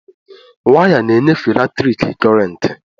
Waya na enyefe latriki kurenti.